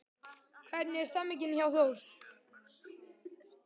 Hvernig er stemningin hjá Þór?